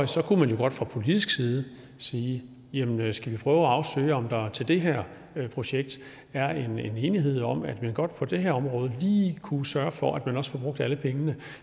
så kunne man jo godt fra politisk side sige jamen skal vi prøve at afsøge om der til det her projekt er en enighed om at man godt på det her område lige kunne sørge for at man også får brugt alle pengene